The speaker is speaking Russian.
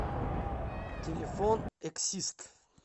телефон эксист